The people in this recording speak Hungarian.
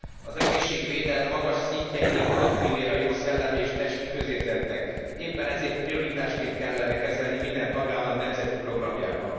Az egészségvédelem magas szintje egyik alappillére a jó szellemi és testi közérzetnek, éppen ezért prioritásként kellene kezelni minden tagállam nemzeti programjában.